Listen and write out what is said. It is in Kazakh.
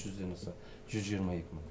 жүзден аса жүз жиырма екі мың